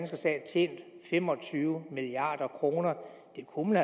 stat tjent fem og tyve milliard kroner det kunne